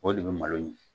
O de bɛ malo in